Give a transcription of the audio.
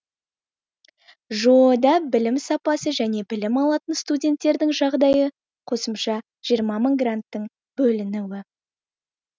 жоо да білімсапасы және білім алатын студенттердің жағдайы қосымша жиырма мың гранттың бөлінуі